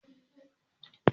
Zo muje ofishin shedimasta